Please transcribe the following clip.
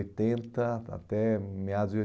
até meados de